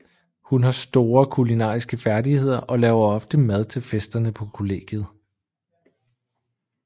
Hun har store kulinariske færdigheder og laver ofte mad til festerne på kollegiet